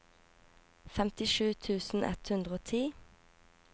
femtisju tusen ett hundre og ti